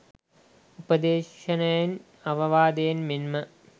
උපදේශනයෙන් අවවාදයෙන් මෙන්ම